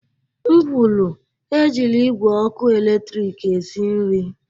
M kwuru, Ejila igwe ọkụ eletrik esi nri!